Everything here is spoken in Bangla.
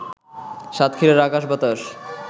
সাতক্ষীরার আকাশ-বাতাস